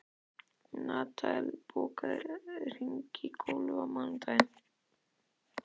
Natanael, bókaðu hring í golf á mánudaginn.